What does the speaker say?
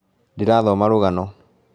Ndĩrathoma rũgano